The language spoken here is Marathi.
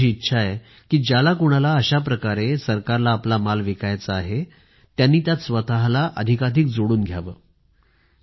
माझी इच्छा आहे कि ज्याला कुणाला अशा प्रकारे सरकारला आपला माल विकायचा आहे त्यांनी यात स्वतःला अधिकाधिक जोडून घ्यावं